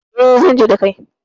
E, zan je da kai.